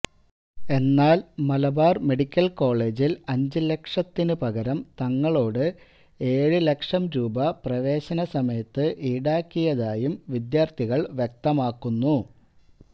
എന്നാല് മലബാര് മെഡിക്കല് കോളേജില് അഞ്ച് ലക്ഷത്തിന് പകരം തങ്ങളോട് ഏഴ് ലക്ഷം രൂപ പ്രവേശനസമയത്ത് ഈടാക്കിയതായും വിദ്യാര്ത്ഥികള് വ്യക്തമാക്കുന്നു